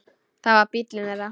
Það var bíllinn þeirra.